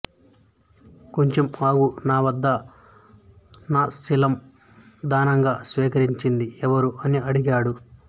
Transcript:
కొంచెం ఆగు నా వద్ద నాశీలం దానంగా స్వీకరించింది ఎవరు అని అడిగాడు